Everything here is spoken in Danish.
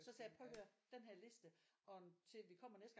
Så sagde jeg prøv at høre denne her liste og til at vi kommer næste gang